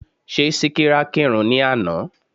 Ṣé Síkírá kírun ní àná?